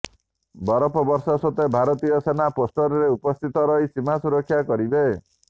ବରଫ ବର୍ଷା ସତ୍ତ୍ୱେ ଭାରତୀୟ ସେନା ପୋଷ୍ଟରେ ଉପସ୍ଥିତ ରହି ସୀମା ସୁରକ୍ଷା କରିବେ